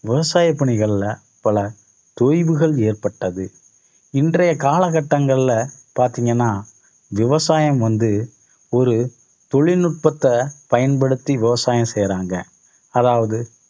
விவசாய பணிகள்ல பல தொய்வுகள் ஏற்பட்டது. இன்றைய காலகட்டங்கள்ல பாத்தீங்கன்னா விவசாயம் வந்து ஒரு தொழில்நுட்பத்தை பயன்படுத்தி விவசாயம் செய்றாங்க. அதாவது